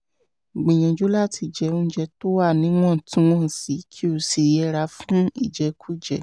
gbìyànjú láti jẹ oúnjẹ tó wà níwọ̀ntúnwọ̀nsì kí o sì yẹra fún ìjẹkújẹ